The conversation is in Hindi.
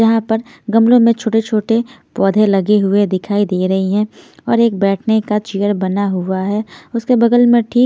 जहां पर गमलों में छोटे-छोटे पौधे लगे हुए दिखाई दे रही हैं और एक बैठने का चेयर बना हुआ है उसके बगल में ठीक--